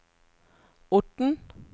Orten